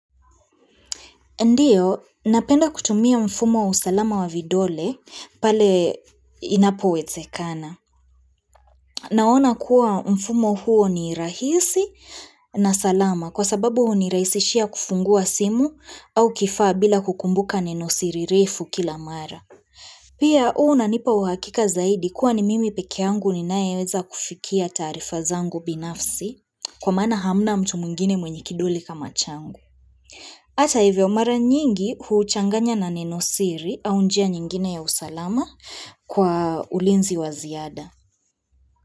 Ndiyo, napenda kutumia mfumo wa usalama wa vidole pale inapo wezekana. Naona kuwa mfumo huo ni rahisi na salama kwa sababu huni rahisishia kufungua simu au kifaa bila kukumbuka nenosiri refu kila mara. Pia uu na nipa uhakika zaidi kuwa ni mimi pekeangu ninaeza kufikia tarifa zangu binafsi kwa maana hamna mtu mwingine mwenye kidole kama changu. Hata hivyo mara nyingi huuchanganya na ninosiri au njia nyingine ya usalama kwa ulinzi waziada.